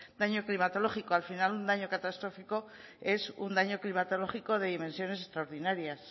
daño climatológico al final un daño catastrófico es un daño climatológico de dimensiones extraordinarias